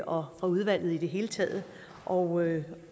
og fra udvalget i det hele taget og